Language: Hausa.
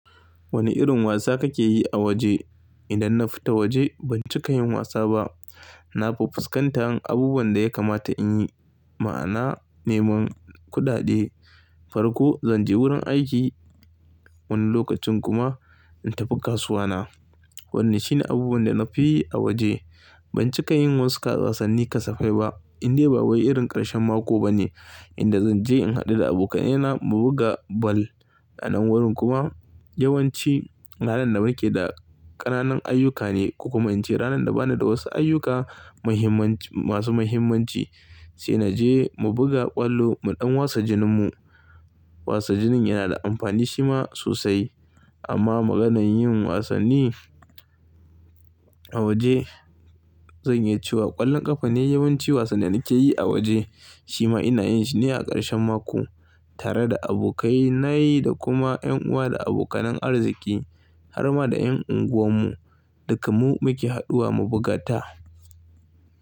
Wani irin wasa kake yi a waje? Idan na fita waje ban cika yin wasa ba. Na fuskantar abubuwan da ya kamata in yi, ma'ana neman kudade, farko zan je wurin aiki, wani lokacin kuma in tafi kasuwa na. Wanne shine abubuwan da na fi yi a waje. Ban cika yin wasu ƙasasanni kasafai ba. Indai ba wai irin ƙarshen mako bane inda zan je in haɗu da abokaina mu buga ball a nan wurin kuma yawanci ranar da nake da ƙananan ayyuka ne. Ko kuma in ce ranar da bana da wasu ayyuka muhimman masu muhimmanci sai naje mu buga kwallo mu ɗan wasa jinin mu. Wasa jinin yana da amfani shi ma sosai. Amma maganan yin wasanni a waje zan iya cewa ƙwallon ƙafa ne yawanci wasan da nake yi a waje. Shi ma ina yin shi ne a ƙarshen mako tare da abokai nayi da kuma ƴan uwa da abokanan arziki har ma da ƴan unguwar mu duka mu muke haduwa mu buga ta.